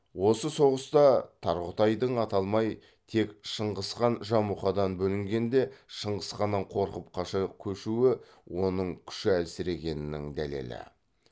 осы соғыста тарғұтайдың аталмай тек шыңғысхан жамұқадан бөлінгенде шыңғысханнан қорқып қаша көшуі оның күші әлсірегенінің дәлелі